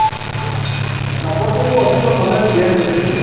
ଆବଶ୍ୟକଠୁ ଅଧିକ knowledge gain କରି ପାରିବେ